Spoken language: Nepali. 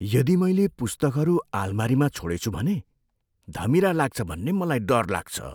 यदि मैले पुस्तकहरू आलमारीमा छोडेछु भने, धमिरा लाग्छ भन्ने मलाई डर लाग्छ।